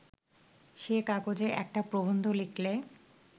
সে কাগজে একটা প্রবন্ধ লিখলে